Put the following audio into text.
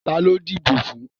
Ta ló díbò fún?